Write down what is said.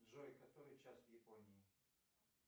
джой который час в японии